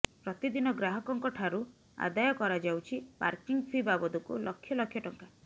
ପ୍ରତିଦିନ ଗ୍ରାହକଙ୍କ ଠାରୁ ଆଦାୟ କରାଯାଉଛି ପାର୍କିଂ ଫି ବାବଦକୁ ଲକ୍ଷ ଲକ୍ଷ ଟଙ୍କା